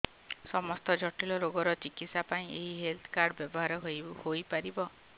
ସମସ୍ତ ଜଟିଳ ରୋଗର ଚିକିତ୍ସା ପାଇଁ ଏହି ହେଲ୍ଥ କାର୍ଡ ବ୍ୟବହାର ହୋଇପାରିବ